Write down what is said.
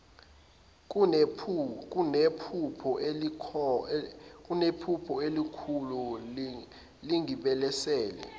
kunephupho elilokhu lingibelesele